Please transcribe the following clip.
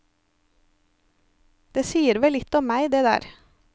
Det sier vel litt om meg, det der.